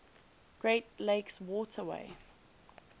great lakes waterway